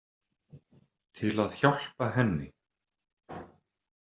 Til að hjálpa henni.